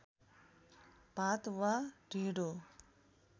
भात वा ढिँडो